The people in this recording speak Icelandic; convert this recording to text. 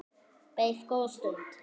Beið góða stund.